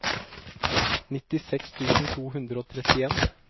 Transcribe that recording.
nittiseks tusen to hundre og trettien